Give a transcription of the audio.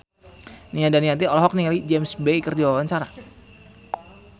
Nia Daniati olohok ningali James Bay keur diwawancara